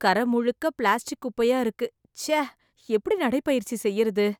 கர முழுக்க பிளாஸ்ட்டிக் குப்பையா இருக்கு.ச்ச எப்படி நடைப்பயிற்சி செய்யறது